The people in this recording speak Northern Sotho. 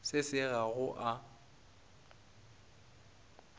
se se ga go a